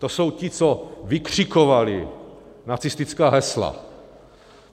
To jsou ti, co vykřikovali nacistická hesla.